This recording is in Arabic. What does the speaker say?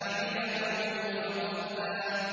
وَعِنَبًا وَقَضْبًا